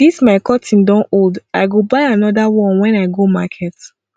dis my curtain don old i go buy another one wen i go market